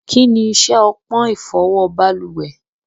Kíni iṣẹ ọpọn ifọwọ baluwẹ̀?